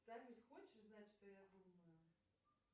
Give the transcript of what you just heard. салют хочешь знать что я думаю